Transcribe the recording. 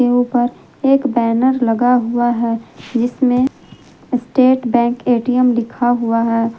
के ऊपर एक बैनर लगा हुआ है जिसमें स्टेट बैंक ए_टी_एम लिखा हुआ है।